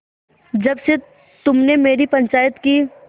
जब से तुमने मेरी पंचायत की